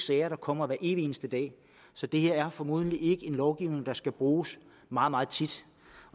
sager der kommer med evig eneste dag så det her er formodentlig ikke en lovgivning der skal bruges meget meget tit